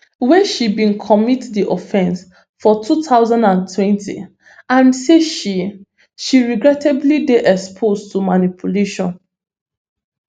wey she bin commit di offence for two thousand and twenty and say she she regrettably dey exposed to manipulation